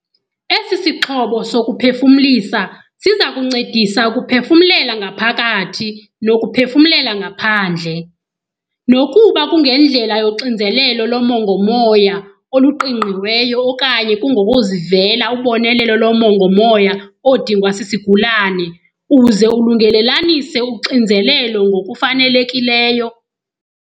Esi sixhobo sokuphefumlisa siza kuncedisa ukuphefumlela ngaphakathi nokuphefumlela ngaphandle, nokuba kungendlela yoxinzelelo lomongo-moya oluqingqiweyo okanye kungokuzivela ubonelelo lomongo-moya odingwa sisigulane uze ulungelelanise uxinzelelo ngokufanelekileyo.